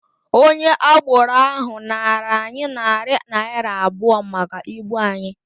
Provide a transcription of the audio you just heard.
Onye agboro ahụ nara anyị narị naịra abụọ maka ibu anyị.